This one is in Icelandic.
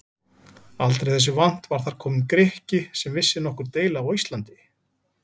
Aldrei þessu vant var þar kominn Grikki sem vissi nokkur deili á Íslandi!